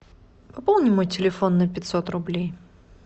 пополни мой телефон на пятьсот рублей